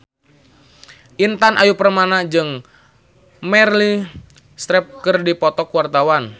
Intan Ayu Purnama jeung Meryl Streep keur dipoto ku wartawan